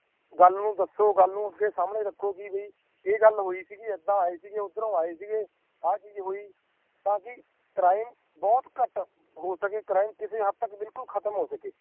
ਗੱਲ ਨੂੰ ਦਸੋ ਗੱਲ ਨੂੰ ਅੱਗੇ ਸਾਮਣੇ ਰੱਖੋ ਕਿ ਬਈ ਏਹ ਗੱਲ ਹੋਇ ਸੀ ਕਿ ਏਦਾਂ ਆਏ ਸੀ ਓਧਰੋਂ ਆਏ ਸੀ ਆ ਚੀਜ ਹੋਈ ਤਾਕਿ ਕ੍ਰਾਈਮ ਬਹੁਤ ਘੱਟ ਹੋ ਸਕੇ ਕ੍ਰਾਈਮ ਕਿਸੇ ਹੱਦ ਤੱਕ ਭੁੱਲ ਕੁਲ ਖਤਮ ਹੋ ਸਕੇ